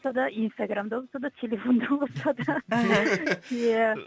инстаграмда болса да телефонда болса да иә